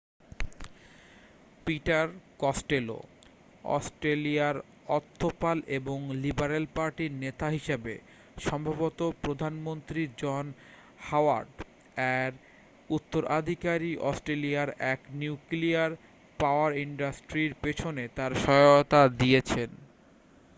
Peter Costello অস্ট্রেলিয়ার অর্থপাল এবং লিবারেল পার্টি-র নেতা হিসাবে সম্ভবত প্রধানমন্ত্রী জন হাওয়ার্ড এর উত্তরাধিকারী অস্ট্রেলিয়ার এক নিউক্লিয়ার পাওয়ার ইনডাস্ট্রির পিছনে তার সহায়তা দিয়েছেন